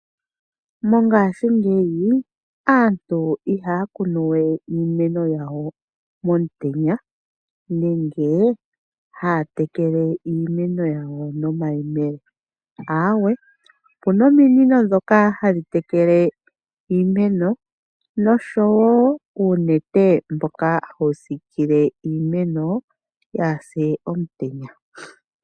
Mongashingeyi aantu ihaya kunu we iimeno yawo momutenya, nenge haya tekele iimeno yawo nomayemele, ihe opuna ominino ndhoka hadhi tekele iimeno, noshowo uunete mboka hawu siikile iimeno, yaapye komutenya.